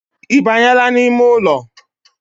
Ibanyeela n’ime ụlọ?